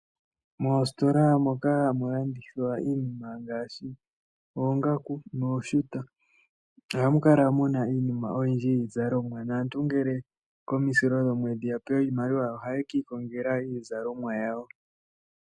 Moositola moka hamu landithwa iinima ngaashi oongaku nooshuta ohamu kala muna iinima oyindji yiizalomwa naantu oyendji ngele yapewa iimaliwa komisilo dhomwedhi ohaya kiikongela iizalomwa yawo.